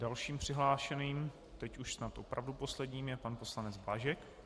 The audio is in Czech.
Dalším přihlášeným, teď už snad opravdu posledním, je pan poslanec Blažek.